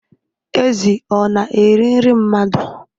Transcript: Ezi ọ na-eri nri mmadụ?